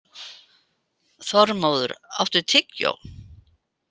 Þormóður, áttu tyggjó?